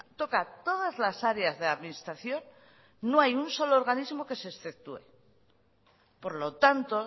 toca todas las áreas de la administración no hay un solo organismo que se exceptúe por lo tanto